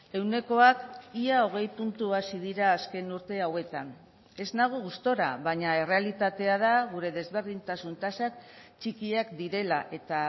ehunekoak ia hogei puntu hazi dira azken urte hauetan ez nago gustura baina errealitatea da gure desberdintasun tasak txikiak direla eta